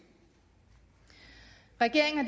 regeringen